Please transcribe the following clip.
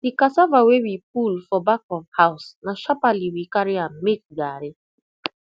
the cassava wey we pull for back of house na sharparly we carry am make garri